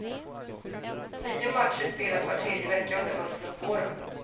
Nio matcher spelas var tredje vecka under hösten och våren.